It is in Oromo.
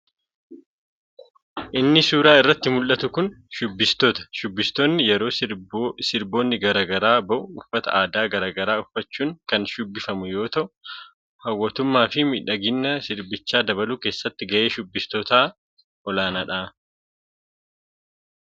Inni suuraa irratti muldhatu kun shubbistoota. shubbistoonni yeroo sirboonni garaa garaa ba'u uffata aadaa garaa garaa uffachuun kan shubbifamu yoo ta'u hawatamummaa fi midhaaginna sirbichaa dabaluu keessatti gaheen shubbistootaa olaanaadha.